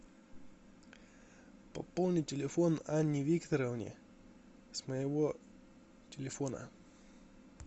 пополни телефон анне викторовне с моего телефона